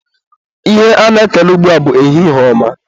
Ihe a na-ekele ugbua bụ ehihie ọma.